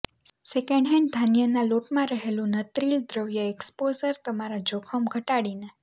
second-hand ધાન્યના લોટમાં રહેલું નત્રિલ દ્રવ્ય એક્સપોઝર તમારા જોખમ ઘટાડીને